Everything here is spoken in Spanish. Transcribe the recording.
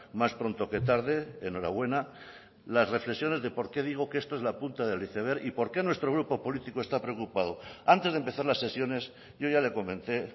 más pronto que tarde enhorabuena las reflexiones de por qué digo que esto es la punta del iceberg y por qué nuestro grupo político está preocupado antes de empezar las sesiones yo ya le comenté